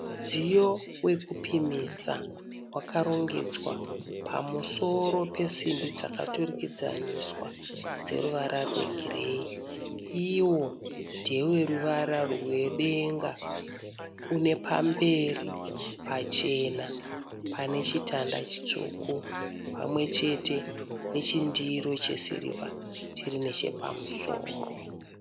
Mudziyo wekupimisa wakarongedzwa pamusoro pesimbi dzakaturikidzaniswa dzeruvara rwegireyi. Iwo ndeweruvara rwedenga unepamberi pachena panechitanda chitsvuku pamwechete nechindiro chesirivha chirinechepamusoro.